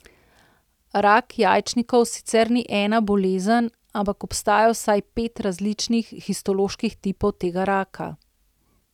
Rak jajčnikov sicer ni ena bolezen, ampak obstaja vsaj pet različnih histoloških tipov tega raka.